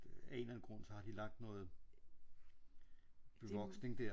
Af en eller anden grund så har de lagt noget bevoksning der